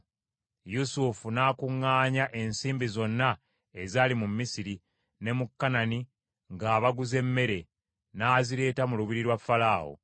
Yusufu n’akuŋŋaanya ensimbi zonna ezaali mu Misiri ne mu Kanani ng’abaguza emmere; n’azireeta mu lubiri lwa Falaawo.